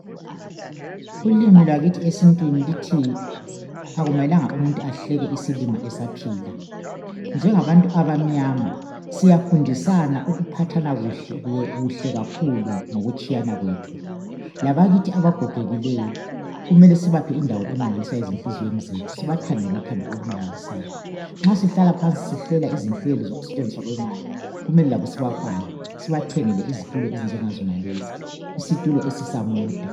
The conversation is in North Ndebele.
Ulimi lwakithi esitwini luthi akumelanga umuntu ehleke isilima esaphila ngabantu abamnyama siyafundisana ukuphathana kuhle kakhulu ngokutshiyana kwethu labakithi abagogekileyo kumele sibaphe indawo emangalisayo ezinhliziyweni zethu sibathande ngothando olumangalisayo nxa sihlala phansi sihlela izinhlelo zokusetshenziswa kwemali kumele labo sibafake sibathengele izitulo ezinjenga zonalezi isitulo esisa mota